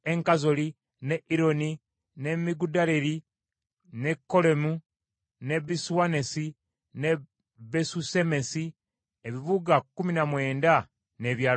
ne Ironi ne Migudaleri, ne Kolemu ne Besuanasi ne Besusemesi, ebibuga kkumi na mwenda n’ebyalo byabyo.